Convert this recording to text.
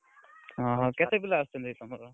ଅହ କେତେ ପିଲା ଆସୁଛନ୍ତି ଏଇ ତମର?